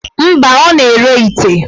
Mba, ọ na-ere ite.